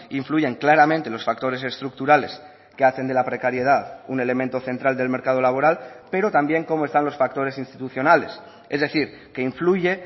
influyen claramente los factores estructurales que hacen de la precariedad un elemento central del mercado laboral pero también cómo están los factores institucionales es decir que influye